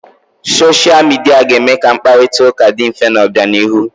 Soshia Midia ga-eme ka mkparita ụka dị mfe n'obianihu.